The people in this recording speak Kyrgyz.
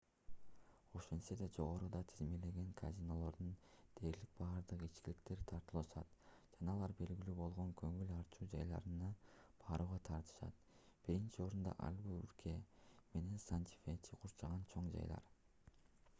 ошентсе да жогоруда тизмеленген казинолордун дээрлик бардыгы ичкиликтерди тартуулашат жана алар белгилүү болгон көңүл ачуу жайларына барууга тартышат биринчи орунда альбукерке менен санта-фени куурчаган чоң жайлар